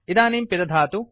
इदानीं पिदधातु